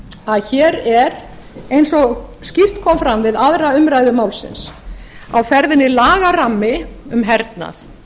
að hér er eins og skýrt kom fram við aðra umræðu málsins á ferðinni lagarammi um hernað